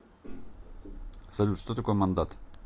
салют что такое мандат